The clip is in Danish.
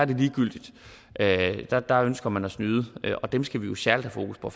det ligegyldigt der der ønsker man at snyde og dem skal vi jo særlig have fokus på